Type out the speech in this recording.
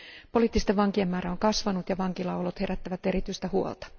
Poliittisten vankien määrä on kasvanut ja vankilaolot herättävät erityistä huolta.